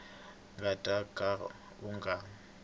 nga ta ka u nga